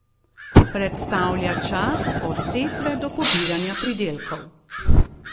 Predstavlja čas od setve do pobiranja pridelkov.